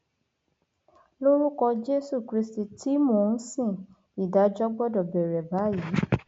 lórúkọ jésù kristi tí mò ń sin ìdájọ gbọdọ bẹrẹ báyìí